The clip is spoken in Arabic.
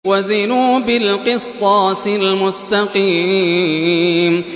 وَزِنُوا بِالْقِسْطَاسِ الْمُسْتَقِيمِ